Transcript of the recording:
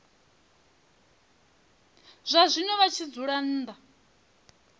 zwazwino vha tshi dzula nnḓa